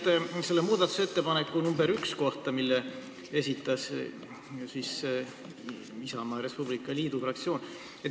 Ma küsin muudatusettepaneku nr 1 kohta, mille esitas Isamaa ja Res Publica Liidu fraktsioon.